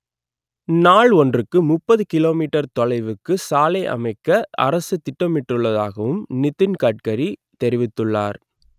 நாள் ஒன்றுக்கு முப்பது கிலோ மீட்டர் தொலைவுக்கு சாலை அமைக்க அரசு திட்டமிட்டுள்ளதாகவும் நிதின் கட்கரி தெரிவித்துள்ளார்